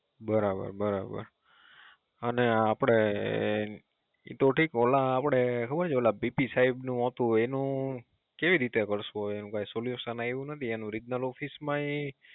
બરાબર બરાબર, અને આપડે ઈ તો ઠીક ઓલા આપડે ખબર છે પી પી સાહેબ ી હતું એનું કેવી રીતે કરશું હવે એનું કઈ Solution આવું નથી એનું Regional office માય